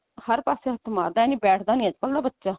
ਹਰ ਪਾਸੇ ਹੱਥ ਮਾਰਦਾ ਇਹ ਨੀ ਬੈਠਦਾ ਨਹੀ ਅੱਜਕਲ ਦਾ ਬੱਚਾ